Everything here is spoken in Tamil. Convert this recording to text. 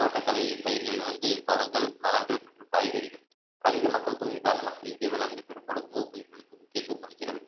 தோட்டக்கலை பயிர்கள் வந்து பழங்கள் மலர்கள் மற்றும் காய்கறிகள் அதிக மக்கள் தொகை காரணமாக இந்திய வேளாண்மை பெரும்பாலும் உணவுப் பொருட்கள் முக்கியத்துவம் அளிக்கிறது